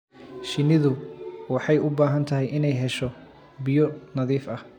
Shinnidu waxay u baahan tahay inay hesho biyo nadiif ah